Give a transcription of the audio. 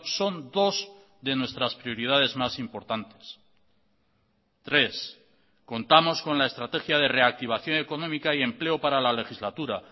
son dos de nuestras prioridades más importantes tres contamos con la estrategia de reactivación económica y empleo para la legislatura